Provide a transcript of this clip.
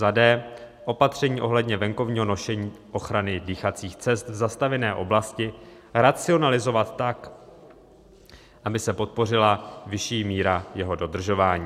d) Opatření ohledně venkovního nošení ochrany dýchacích cest v zastavěné oblasti racionalizovat tak, aby se podpořila vyšší míra jeho dodržování."